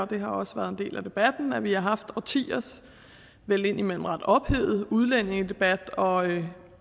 det har også været en del af debatten at vi har haft årtiers vel indimellem ret ophedede udlændingedebat og